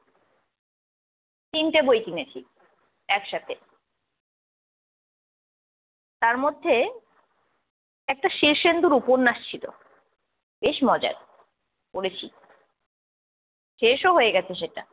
তিনটা বই কিনেছি একসাথে। তার মধ্যে একটা শীর্ষেন্দুর উপন্যাস ‍ছিল। বেশ মজার। পড়েছি শেষও হয়ে গেছে সেটা।